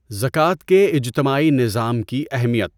زکات کے اجتماعی نظام کی اہمیت